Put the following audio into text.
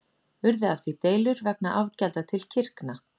Urðu af því deilur vegna afgjalda til kirkna.